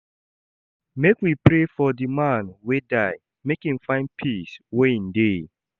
Make we pray for di man wey die make im find peace where im dey.